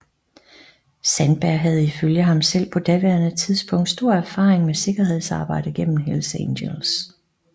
Sandberg havde ifølge ham selv på daværende tidspunkt stor erfaring med sikkerhedsarbejde gennem Hells Angels